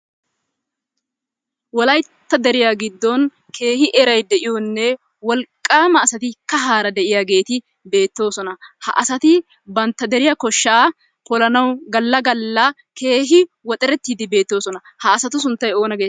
Wollayttaa deriyaa giddon kehi erayi de'iyonne, wolqamma asaatti kaharra de'iyaagetti betossonnaa.ha asatti bantta deriyaa koshaa pollanawu galaa galaa kehi woxerettiddi bettosonna, ha asaatu sunttay onaa getetti?